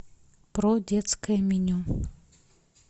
про детское меню